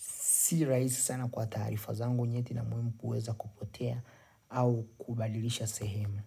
si rahisi sana kwa taarifa zangu unyeti na muhimu kuweza kupotea au kubadilisha sehemu.